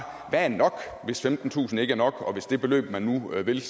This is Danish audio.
hvad er nok hvis femtentusind kroner ikke er nok og hvis det beløb man nu vil